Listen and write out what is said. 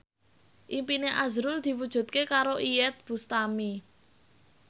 impine azrul diwujudke karo Iyeth Bustami